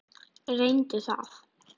Reyndu það.